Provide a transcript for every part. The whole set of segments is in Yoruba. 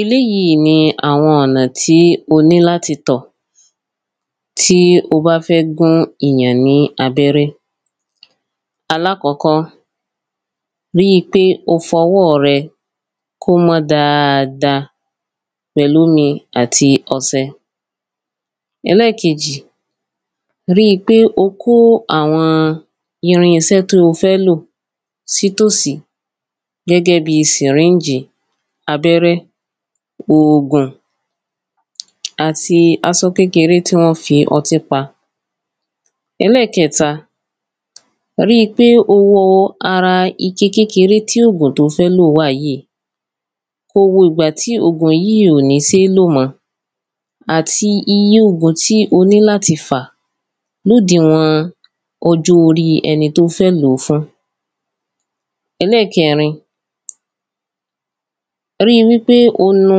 eléyíi ni àwọn ọ̀nà tí o ní láti tọ̀ tí ó bá fẹ́ gún ìyàn ní abẹ́rẹ́. alákọ́kọ́, ríi pé o fọwọ́ rẹ kó mọ́ dáada pẹ̀lómi àti ọsẹ. ẹlẹ́kejì, ríi pé o kó àwọn irinsẹ́ to ó fẹ́ lò sí tòsí. gẹ́gẹ́ bi sìrínjì, abẹ́rẹ́, ògùn, àti asọ kékeré tí wọ́n fi ọtí pa. ẹlẹ́kẹta, ríi pé o wo ara ike kékeré tí ògùn to fẹ́ lòó wà yíi, kó wo ìgbà tí ògùn yíì í ò ní seé lò mọ́. àti iye ògùn tí o ní láti fà lódiwọ̀n-ọn ọjọ́-oríi ẹni tó fẹ́ lò ó fún. ẹlẹ̀kẹrin, ríi wípé o nu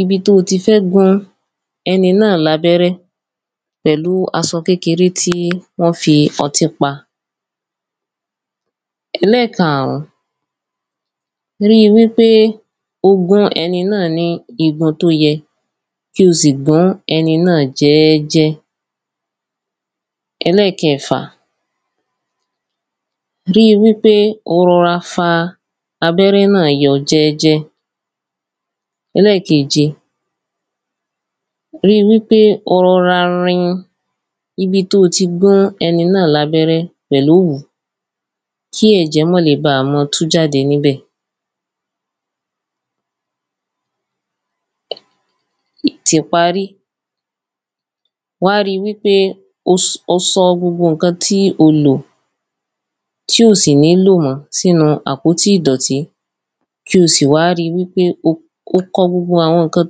ibi tó o ti fẹ́ gún ẹni náà lábẹ́rẹ́ pẹ̀lúu asọ kékeré tí wọ́n fi ọtí pa. ẹlẹ́kaàrún, ríi wípé o gún ẹni náà ní igun tó yẹ kí o sì gún ẹni náà jẹ́ẹ́jẹ́. ẹlẹ́kẹẹ̀fà, ríi wípé o rọra fa abẹ́rẹ́ náà yọ jẹ́jẹ́. ẹlẹ́keèje, ríi wípé o rọra rin ibi tó o ti gún ẹni náà lábẹ́rẹ́ pẹ̀lówú kí ẹ̀jẹ́ mọ́lè baà mọ tú jáde níbẹ̀. tìparí, wá ri wípé o si, o sọ gbogbo ǹkan tí o lò tí ò sì nílò mọ́ sínu àpótí ìdọ̀tí. kí o sì wá ri wípé o kọ gbogbo àwọn ǹkan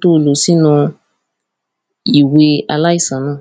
tó o lò sínu ìwe aláìsàn náà.